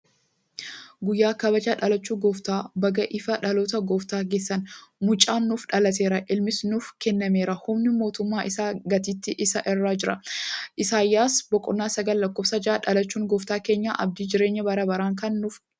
Guyyaa kabaja dhalachuu gooftaa. Baga ifa dhaloota gooftaa geessan! Mucaan nuuf dhalateera, ilmis nuuf kennameera; humni mootummaa isaa gatiittii isaa irra jira;..." (R. Isaay 9: 6). Dhalachuun gooftaa keenyaa abdii jireenya bara baraa kan nuuf laatedha.